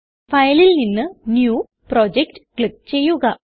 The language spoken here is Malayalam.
Fileൽ നിന്ന് ന്യൂ പ്രൊജക്ട് ക്ലിക്ക് ചെയ്യുക